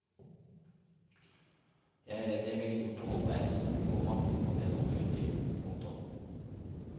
Jeg er redd jeg ville gjort det halvveis, komma og det holder jo ikke. punktum